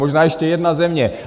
Možná ještě jedna země.